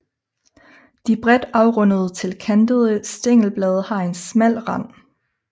De bredt afrundede til kantede stængelblade har en smal rand